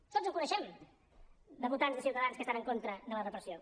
tots en coneixem de votants de ciutadans que estan en contra de la repressió